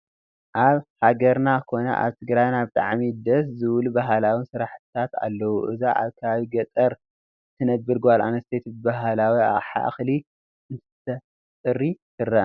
ኣብ ሃገርና ኮነ ኣብ ትግራይና ብጣዕሚ ደስ ዝብሉ ባህላዊ ስራሕትታት ኣለው፡፡ እዛ ኣብ ከባቢ ገጠር እትነብር ጓልኣነስተይቲ ብባህላዊ ኣቕሓ እኽሊ እንትተፅርይ ትረአ፡፡